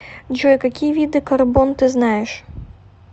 джой какие виды карбон ты знаешь